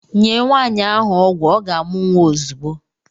Nye Nwaanyị ahụ ọgwụ ọ ga-amụ nwa ozugbo!